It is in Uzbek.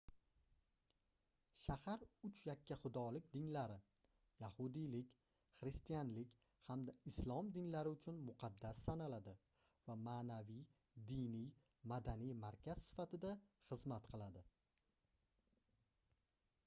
shahar uch yakkaxudolik dinlari yahudiylik xristianlik hamda islom dinlari uchun muqaddas sanaladi va maʼnaviy diniy madaniy markaz sifatida xizmat qiladi